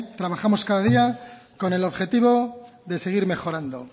trabajamos cada día con el objetivo de seguir mejorando